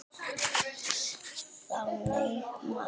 Þannig maður var Þór.